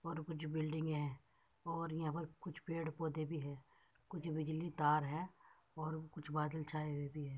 और कुछ बिल्डिंग है और यहा पर कुछ पेड़ पौधे भी है। कुछ बिजली तार है और कुछ बादल छाए हुए भी हैं।